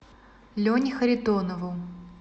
лене харитонову